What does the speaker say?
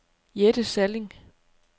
Jette Salling